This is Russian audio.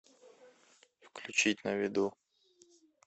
включить на виду